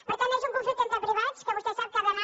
per tant és un conflicte entre privats que vostè sap que ha d’anar